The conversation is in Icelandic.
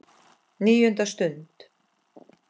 NÍUNDA STUND